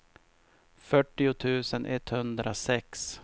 fyrtio tusen etthundrasex